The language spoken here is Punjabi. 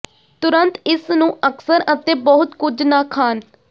ਤੁਰੰਤ ਇਸ ਨੂੰ ਅਕਸਰ ਅਤੇ ਬਹੁਤ ਕੁਝ ਨਾ ਖਾਣ